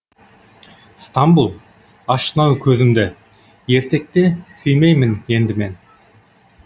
стамбұл аштың ау көзімді ертекті сүймеймін енді мен